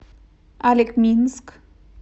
олекминск